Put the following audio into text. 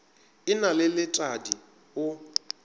e na le letadi o